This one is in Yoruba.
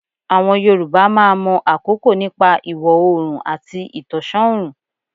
Àwọn Yorùbá máa mọ̀ àkókò nípa ìwọ̀ oòrùn àti ìtànṣán ọ̀rùn.